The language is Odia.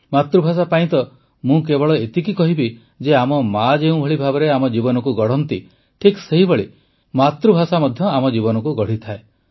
ମାତୃଭାଷା ପାଇଁ ମୁଁ ତ କେବଳ ଏତିକି କହିବି ଯେ ଆମ ମା ଯେଉଁଭଳି ଭାବରେ ଆମ ଜୀବନକୁ ଗଢ଼ନ୍ତି ଠିକ୍ ସେହିଭଳି ଭାବରେ ମାତୃଭାଷା ମଧ୍ୟ ଆମ ଜୀବନକୁ ଗଢ଼ିଥାଏ